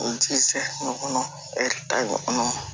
ɲɔgɔn ɲɔgɔn